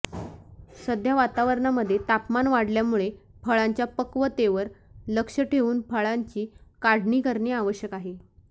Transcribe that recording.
सध्या वातावरणामध्ये तापमान वाढल्यामुळे फळांच्या पक्वतेवर लक्ष ठेवून फळांची काढणी करणे आवश्यक आहे